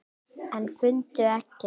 En fundu ekkert.